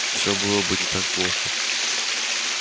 все было бы не так плохо